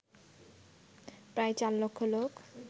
প্রায় ৪ লক্ষ লোক